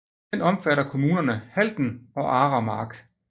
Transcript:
Den omfatter kommunerne Halden og Aremark